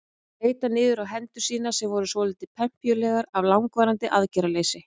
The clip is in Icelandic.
Hann leit niður á hendur sínar sem voru svolítið pempíulegar af langvarandi aðgerðarleysi.